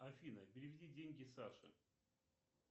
афина переведи деньги саше